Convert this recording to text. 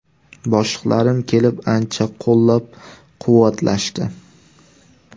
Boshliqlarim kelib, ancha qo‘llab-quvvatlashdi.